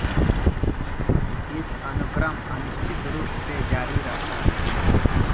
इस अनुक्रम अनिश्चित रूप से जारी रहता है